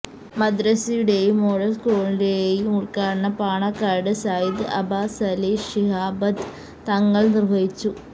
മദ്രസയുടെയം model സ്കൂളിന്റെയും ഉദ്ഘാടനം പാണക്കാട് സയ്യിദ് അബ്ബാസലി ശിഹാബ് തങ്ങൾ നിർവഹിച്ചു